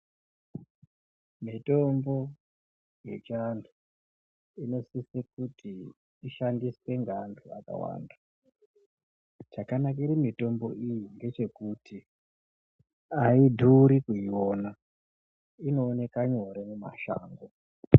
Mitombo yechiantu inosise kuti ishandiswe neantu akawanda zvakanakire mitombo iyi ngechekuti aidhuri kuiona inooneka nyore mishango .